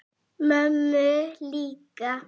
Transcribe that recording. Mömmu líka?